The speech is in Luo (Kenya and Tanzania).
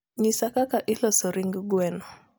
nyisa kaka iloso ring gweno